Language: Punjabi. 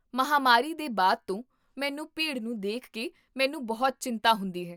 ਮਹਾਂਮਾਰੀ ਦੇ ਬਾਅਦ ਤੋਂ ਮੈਨੂੰ ਭੀੜ ਨੂੰ ਦੇਖ ਕੇ ਮੈਨੂ ਬਹੁਤ ਚਿੰਤਾ ਹੁੰਦੀ ਹੈ